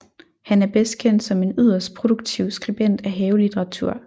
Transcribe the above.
Han er bedst kendt som en yderst produktiv skribent af havelitteratur